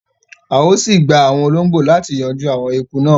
À ó síí gbà àwọn olóngbó láti yanjú àwọn eku náà